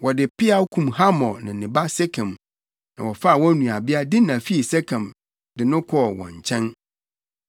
Wɔde peaw kum Hamor ne ne ba Sekem, na wɔfaa wɔn nuabea Dina fii Sekem fi de no kɔɔ wɔn nkyɛn.